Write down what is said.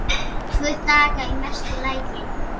Tvo daga í mesta lagi.